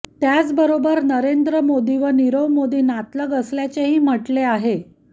त्याचबरोबर नरेंद्र मोदी व निरव मोदी नातलग असल्याचेही म्हटले आहे